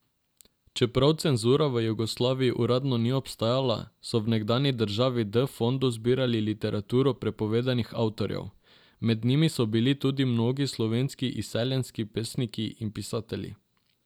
Čeprav cenzura v Jugoslaviji uradno ni obstajala, so v nekdanji državi v D fondu zbirali literaturo prepovedanih avtorjev, med njimi so bili tudi mnogi slovenski izseljenski pesniki in pisatelji.